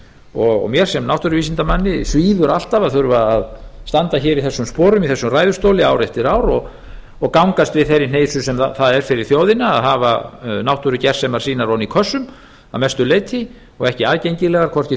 og mér sem náttúruvísindamanni svíður alltaf að þurfa að standa hér í þessum sporum í þessum ræðustóli ár eftir ár og gangast við þeirri hneisu sem það er fyrir þjóðina að hafa náttúrugersemar sínar ofan í kössum að mestu leyti og ekki aðgengilegar hvorki